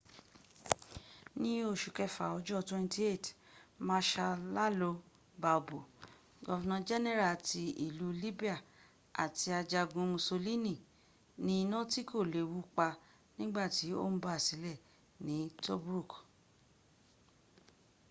ní oṣù kẹfà ọjọ́ 28 mashal ìalo balbo governor general ti ìlú libya àti ajogún mussolini ní inà tí kò léwu pa nígbàtí ó ń basílẹ̀ ní tobruk